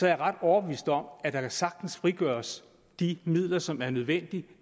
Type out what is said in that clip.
jeg ret overbevist om at der sagtens kan frigøres de midler som er nødvendige